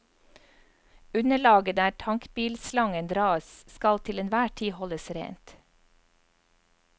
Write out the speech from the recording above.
Underlaget der tankbilslangen dras skal til enhver tid holdes rent.